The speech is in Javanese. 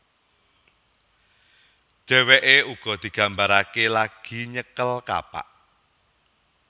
Dhèwèké uga digambaraké lagi nyekel kapak